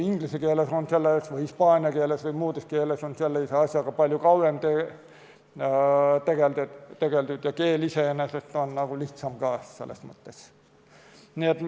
Inglise keeles, hispaania keeles või muudes keeltes on sellise asjaga palju kauem tegeldud ja keel iseenesest on nagu ka selles mõttes lihtsam.